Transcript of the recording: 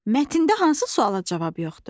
Mətndən hansı suala cavab yoxdur?